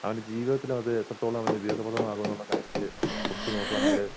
അവൻ്റെജീവിതത്തില് അത് എത്രത്തോളം അവന് ഉപയോഗപ്രദമാകൂന്നുള്ള കാര്യത്തില് ഉച്ചുനോക്കുവാണെങ്കില്